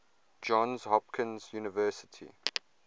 johns hopkins university